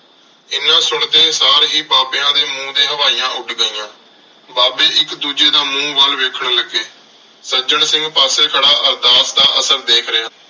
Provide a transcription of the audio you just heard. ਐਨਾ ਸੁਣਦੇ ਸਾਰ ਹੀ ਬਾਬਿਆਂ ਦੇ ਮੂੰਹ ਤੇ ਹਵਾਈਆਂ ਉੱਡ ਗਈਆਂ। ਬਾਬੇ ਇੱਕ ਦੂਜੇ ਦਾ ਮੂੰਹ ਵੱਲ ਵੇਖਣ ਲੱਗੇ। ਸੱਜਣ ਸਿੰਘ ਪਾਸੇ ਖੜ੍ਹਾ ਅਰਦਾਸ ਦਾ ਅਸਰ ਦੇਖ ਰਿਹਾ ਸੀ।